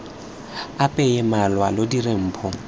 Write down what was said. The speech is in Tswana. apeye malwa lo dire mpho